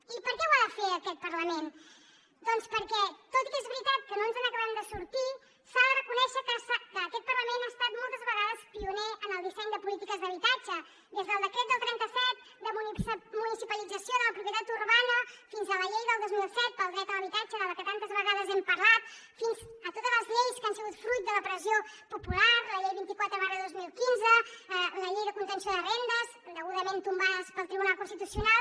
i per què ho ha de fer aquest parlament doncs perquè tot i que és veritat que no ens n’acabem de sortir s’ha de reconèixer que aquest parlament ha estat moltes vegades pioner en el disseny de polítiques d’habitatge des del decret del dinou trenta set de municipalització de la propietat urbana fins a la llei del dos mil set pel dret a l’habitatge de la que tantes vegades hem parlat fins a totes les lleis que han sigut fruit de la pressió popular la llei vint quatre dos mil quinze la llei de contenció de rendes indegudament tombades pel tribunal constitucional